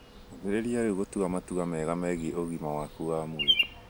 Ambĩrĩrie rĩu gũtua matua mega megiĩ ũgima waku wa mwĩrĩ.